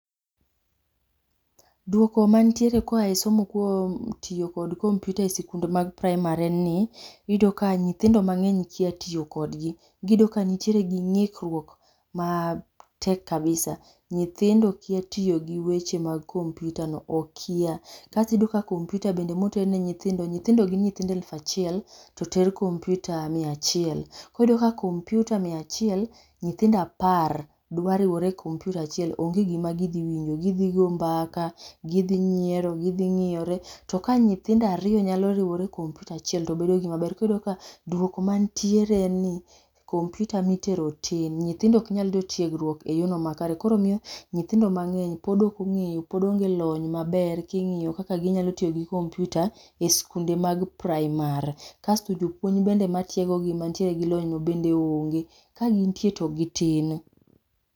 Dwoko ma nitiere ka oya e somo kuom tiyo kod kompyuta e sikunde mag primary en ni iyudo ka nyithindo mang'eny kia tiyo kod gi iyudo ka nitiere gi ng'ikruok ma tek kabisa nyithindo kia tiyo gi weche mag kompyuta no, okia. Kasto iyudo ka be kompyuta ma oter ne nyithindo, nyithindo gin alaf achiel to oter ne gi kompyuta mia achiel iyudo ka kompyuta mia achiel nyithindo apar dwa riwore e kompyuta achiel onge gi ma gi dhi winjo, go mbaka, gi dhi nyiero, gi dhi ng'iyore. To ka nyithindo ariyo oriwore e kompyuta achiel to bedo gi ma ber iyudo ka dwoko ma nitiere en ni kompyuta mi itero tin nyithindo ok nya yudo tiegruok e yo no ma kare. Koro ema omiyo nyithindo mang'eny pod ok ong'eyo pod onge lony maber ki ing'iyo kaka gi nyalo tiyo gi kompyuta e sikunde mag primary. Kasto jopuonje ma tiego gi gi lony no bende onge ka gin nitie bende gi tin.